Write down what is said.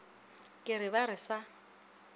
ke re ba re sa